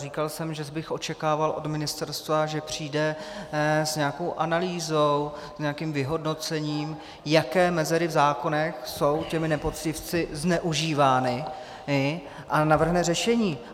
Říkal jsem, že bych očekával od ministerstva, že přijde s nějakou analýzou, s nějakým vyhodnocením, jaké mezery v zákonech jsou těmi nepoctivci zneužívány, a navrhne řešení.